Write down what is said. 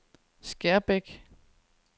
Skærbæk